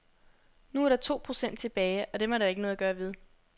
Nu er der to procent tilbage, og dem er der ikke noget at gøre ved.